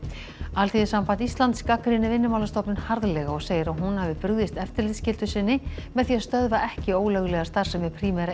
Alþýðusamband Íslands gagnrýnir Vinnumálastofnun harðlega og segir að hún hafi brugðist eftirlitsskyldu sinni með því að stöðva ekki ólöglega starfsemi Primera